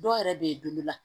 Dɔw yɛrɛ bɛ yen la